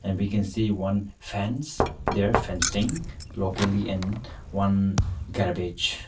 we can see one fence their fencing locally in one garbage.